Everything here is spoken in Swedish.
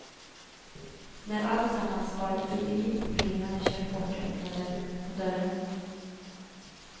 När alltsammans var förbi och bilen hade kört bort öppnade hon dörren.